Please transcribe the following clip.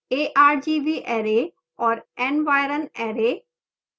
argv array और environ array